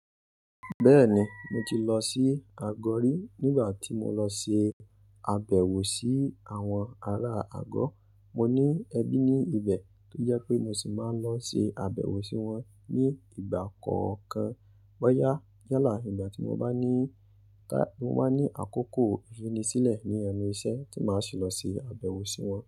Bẹ́ẹ̀ni mo ti lọ sí Ago ri nígbà tí mo lọ ṣe àbẹ̀wò sí àwọn ará Agó. Mo ní ẹbí ní ibẹ̀ tó jẹ́ pé mo sì máa ń lọ ṣe àbẹ̀wò sí wọn ní ìgbà kọ̀ọ̀kan. Bóyá yálà, ìgbà tí mo bá ní, ta, mo máa ní àkókò ìrínisílẹ̀ ní ẹnu iṣẹ́ tí màá sì lọ ṣe àbẹ̀wò sí wọn.